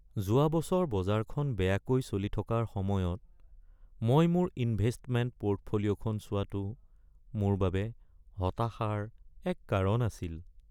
যোৱা বছৰ বজাৰখন বেয়াকৈ চলি থকাৰ সময়ত মই মোৰ ইনভেষ্টমেণ্ট পৰ্টফলিঅ’খন চোৱাটো মোৰ বাবে হতাশাৰ এক কাৰণ আছিল।